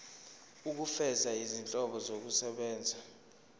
ukufeza izinhloso zokusebenzisa